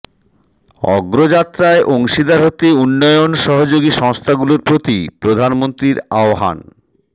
অগ্রযাত্রায় অংশীদার হতে উন্নয়ন সহযোগী সংস্থাগুলোর প্রতি প্রধানমন্ত্রীর আহ্বান